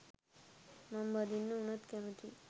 මං බඳින්න උනත් කැමතියි